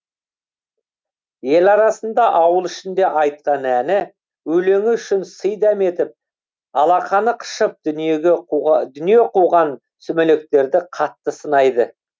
ел арасында ауыл ішінде айтқан әні өлеңі үшін сый дәметіп алақаны қышып дүние қуған сүмелектерді қатты сынайды